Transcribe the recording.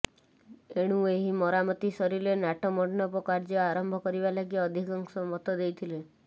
ଏଣୁ ଏହି ମରାମତି ସରିଲେ ନାଟମଣ୍ଡପ କାର୍ୟ୍ୟ ଆରମ୍ଭ କରିବା ଲାଗି ଅଧିକାଂଶ ମତ ଦେଇଥିଲେ